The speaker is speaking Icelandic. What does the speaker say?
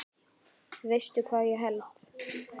Veistu hvað ég held?